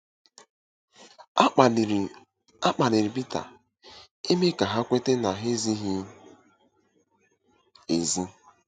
A kpaliri A kpaliri Pita ime ka ha kweta na ha ezighị ezi.